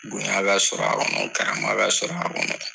Bonya ka sɔrɔ a kɔnɔ karama ka sɔrɔ a kɔnɔ